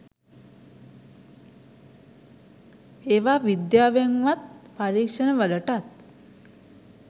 ඒවා විද්‍යාවෙන්වත් පරීක්ෂණ වලටත්